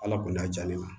Ala kɔni y'a diya ne ma